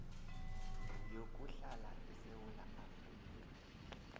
yokuhlala esewula afrika